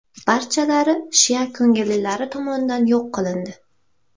Barchalari shia ko‘ngillilari tomonidan yo‘q qilindi.